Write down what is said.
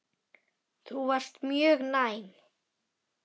Þú varst mjög næm.